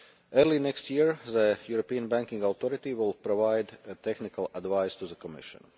Early next year, the European Banking Authority will provide technical advice to the Commission.